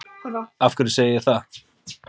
Af hverju segi ég það